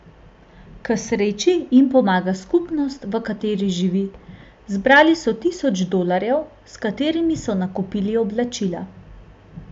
K sreči jim pomaga skupnost, v kateri živi, zbrali so tisoč dolarjev, s katerimi so nakupili oblačila.